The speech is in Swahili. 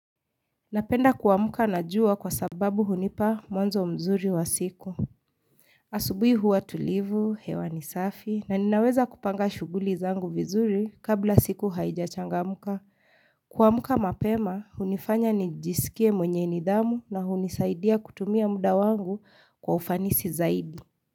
Napenda kuamka na jua kwa sababu hunipa mwanzo mzuri wa siku. Asubuhi huwa tulivu, hewa ni safi, na ninaweza kupanga shughuli zangu vizuri kabla siku haijachangamka. Kuamka mapema hunifanya nijiskie mwenye nidhamu na hunisaidia kutumia muda wangu kwa ufanisi zaidi.